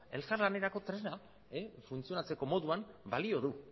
elkarlanerako tresna funtzionatzeko moduan balio du